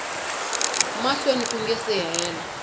mahlweni ku nga si hela